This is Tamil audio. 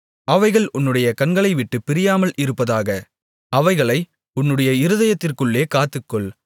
அவைகள் உன்னுடைய கண்களைவிட்டுப் பிரியாமல் இருப்பதாக அவைகளை உன்னுடைய இருதயத்திற்குள்ளே காத்துக்கொள்